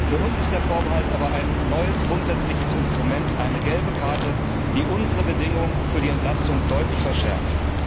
Für uns ist der Vorbehalt aber ein neues grundsätzliches Instrument, eine gelbe Karte, die unsere Bedingungen für die Entlastung deutlich verschärft.